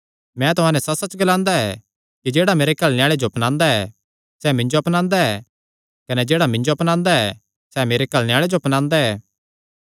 मैं तुहां नैं सच्चसच्च ग्लांदा ऐ कि जेह्ड़ा मेरे घल्लणे आल़े जो अपनांदा ऐ सैह़ मिन्जो अपनांदा ऐ कने जेह्ड़ा मिन्जो अपनांदा ऐ सैह़ मेरे घल्लणे आल़े जो अपनांदा ऐ